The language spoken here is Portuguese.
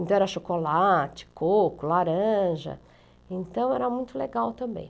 Então era chocolate, coco, laranja, então era muito legal também.